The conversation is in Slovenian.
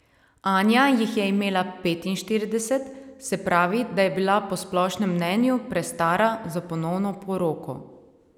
Anja jih je imela petinštirideset, se pravi, da je bila po splošnem mnenju prestara za ponovno poroko.